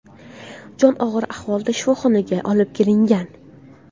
Jon og‘ir ahvolda shifoxonaga olib ketilgan.